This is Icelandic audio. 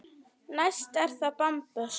Næst er það bambus.